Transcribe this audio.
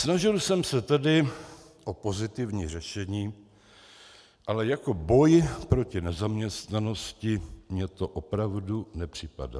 Snažil jsem se tedy o pozitivní řešení, ale jako boj proti nezaměstnanosti mně to opravdu nepřipadá.